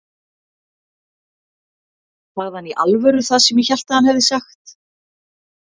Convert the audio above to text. Sagði hann í alvöru það sem ég hélt að hann hefði sagt?